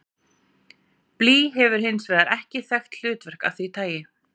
Blý hefur hins vegar ekki þekkt hlutverk af því tagi.